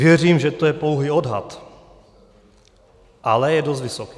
Věřím, že to je pouhý odhad, ale je dost vysoký.